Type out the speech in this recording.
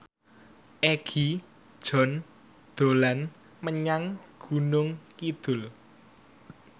Egi John dolan menyang Gunung Kidul